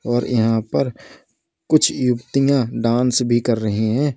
और यहां पर कुछ युवतियां डांस भी कर रही हैं।